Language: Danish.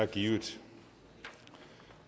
givet